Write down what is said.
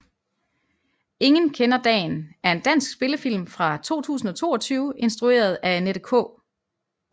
Ingen kender dagen er en dansk spillefilm fra 2022 instrueret af Annette K